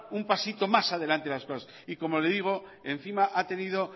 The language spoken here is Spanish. un pasito más adelante las cosas y como le digo encima ha tenido